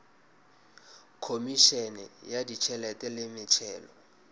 khomišene ya ditšhelete le metšhelo